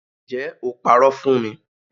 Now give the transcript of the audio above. Ǹjẹ́ o parọ́ fún mi